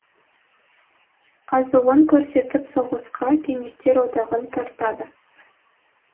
азуын көрсетіп соғысқа кеңестер одағын тартады